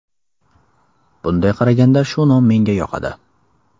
Bunday qaraganda, shu nom menga yoqadi.